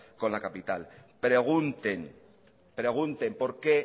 con la capital pregunten pregunte por qué